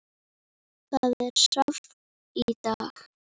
Það er safn í dag.